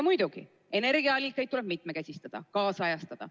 Muidugi, energiaallikaid tuleb mitmekesistada, kaasajastada.